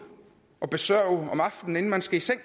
at besørge om aftenen inden man skal i seng